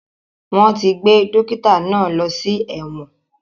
Wọ́n ti gbé dókítà náà lọ sí ẹ̀wọ̀n